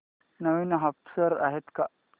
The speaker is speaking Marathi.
नवीन ऑफर्स आहेत का